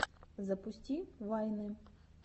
запусти вайны